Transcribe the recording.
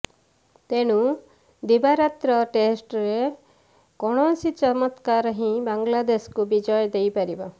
ତେଣୁ ଦିବାରାତ୍ର ଟେଷ୍ଟରେ କୌଣସି ଚମତ୍କାର ହିଁ ବାଂଲାଦେଶକୁ ବିଜୟ ଦେଇପାରିବ